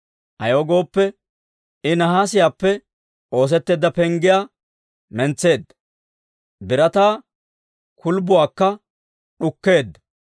Ayaw gooppe, I nahaasiyaappe oosetteedda penggiyaa mentseedda; Birataa kulbbuwaakka d'ukkeedda.